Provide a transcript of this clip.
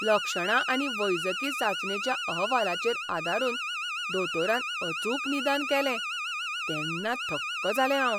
लक्षणां आनी वैजकी चांचणेच्या अहवालाचेर आदारून दोतोरान अचूक निदान केलें तेन्ना थक्क जालें हांव!